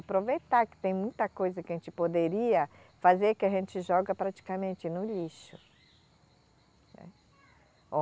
Aproveitar que tem muita coisa que a gente poderia fazer que a gente joga praticamente no lixo, né.